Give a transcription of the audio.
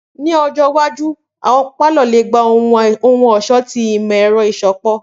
Ni ọjọ iwaju, awọn palọ le gba ohun-ọṣọ ti imọ-ẹrọ iṣọpọ.